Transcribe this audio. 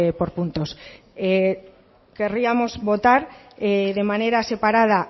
por puntos querríamos votar de manera separada